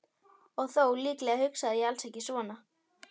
Og þó, líklega hugsaði ég alls ekki svona.